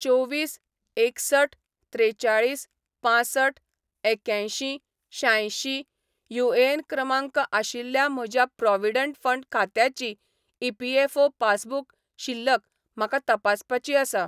चोवीस एकसठ त्रेचाळीस पांसठ एक्यांयशीं शांयशीं युएएन क्रमांक आशिल्ल्या म्हज्या प्रॉव्हिडंट फंड खात्याची ईपीएफओ पासबुक शिल्लक म्हाका तपासपाची आसा